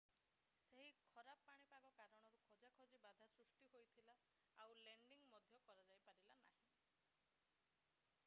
ସେହି ଖରାପ ପାଣିପାଗ କାରଣରୁ ଖୋଜାଖୋଜିରେ ବାଧା ସୃଷ୍ଟି ହୋଇଥିଲା ଆଉ ଲେଣ୍ଡିଙ୍ଗ ମଧ୍ୟ କରାଯାଇପାରିଲା ନାହିଁ